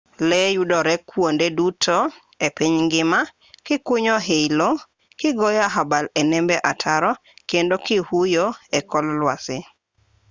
lee yudore kwonde duto e piny ngima gikunyo i lowo gigoyo abal e nembe ataro kendo gihuyo e kor lwasi